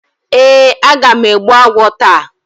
Ee, aga m egbbu agwo taa.